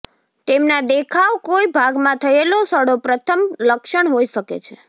તેમના દેખાવ કોઈ ભાગમાં થયેલો સડો પ્રથમ લક્ષણ હોઈ શકે છે